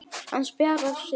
Hann spjarar sig.